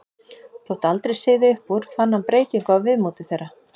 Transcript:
Þótt aldrei syði upp úr fann hann breytingu á viðmóti þeirra.